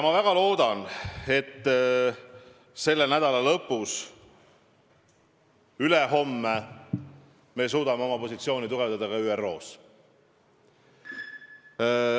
Ma väga loodan, et selle nädala lõpus, ülehomme me suudame oma positsiooni tugevdada ka ÜRO-s.